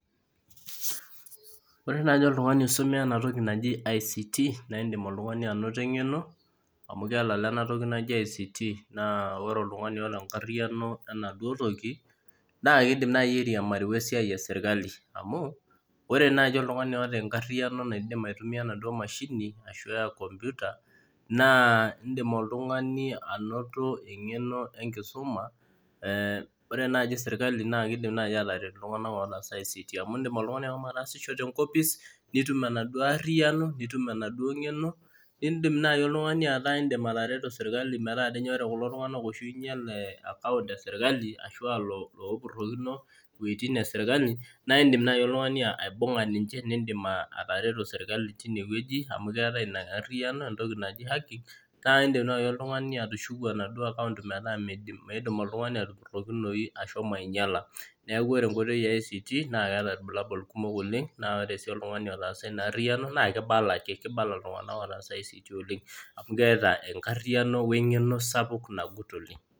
Ore naaji oltung'ani osomea ena toki naji ICT naa indim anoto eng'eno amu kelala enatoki naji ICT naa ore oltung'ani oota enkariano enaduo toki naa keidim naani airiamari wesiai esirkali amu ore naaji oltung'ani oota enkariano enaduo mashini ashua computer naa indiim oltung'ani anoto eng'eno enkisuma ore naaji serkali naa keidim naaji ataret iltung'anak ootaasa ICT amu indiim oltung'ani ashomo ataasisho tenkopis nitum enaduo aariyiano nitum enaaduo ng'eno naa indiim naaji oltung'ani ataa indiim atareto serkali meetaa doi ore kulo tung'anak ooinyial ekaunt serkali ashau iloopurokino iweitin esirkali naa indiim naaji oltung'ani aibung'a ninche nindim atareto serkali tine weueji amu keetai naaidim naaji oltung'ani atushuku enaduo akaunt metaa meiim oltung'ani atupurokinoyu ashomk ainyiala neeku ore enkoitoi ee ICT naa keeta irbulabol kumok oleng naa oore sii oltung'ani otaasa ina aariyiano naa keibala ake iltung'anak ootasa ICT oleng amu keeta enkariano weng'eno nagut oleng